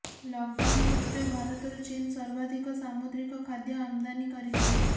lockdown ସତ୍ତ୍ୱେ ଭାରତରୁ ଚୀନ ସର୍ବାଧିକ ସାମୁଦ୍ରିକ ଖାଦ୍ୟ ଆମଦାନୀ କରିଛି